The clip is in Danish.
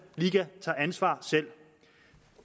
ansvar